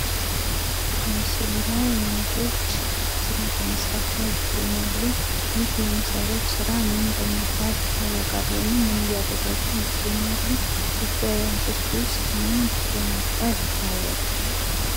በምስሉ ላይ እናቶች ስራ በመስራት ላይ ይገኛሉ:ይህ: የሚሰሩት ስራ ምን በመባል ይታወቃል? ወይም ምን እያደረጉ ይገኛሉ? በእጇ የያዘችውስ ምን በመባል ይታወቃል?